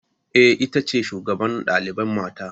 Eh, ita ce shugaban ɗalibai mata